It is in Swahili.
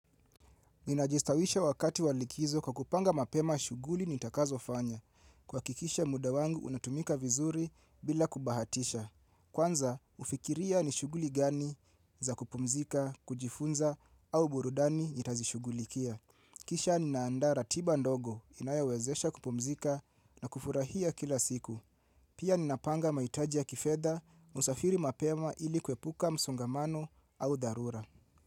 Ninajistawisha wakati walikizo kwa kupanga mapema shughuli nitakazo fanya. Kuhakikisha mudawangu unatumika vizuri bila kubahatisha. Kwanza, hufikiria ni shughuli gani za kupumzika, kujifunza, au burudani nitazishugulikia. Kisha ninaanda ratiba ndogo inayowezesha kupumzika na kufurahia kila siku. Pia ninapanga mahitajiya kifedha, husafiri mapema ili kuepuka msongamano au dharura.